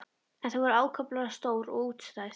En þau voru ákaflega stór og útstæð.